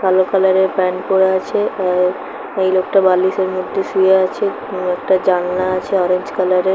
কালো কালার - এর প্যান্ট পরে আছে আ- এই লোকটা বালিশের মধ্যে শুয়ে আছে কোনো একটা জানলা আছে অরেঞ্জ কালার - এর--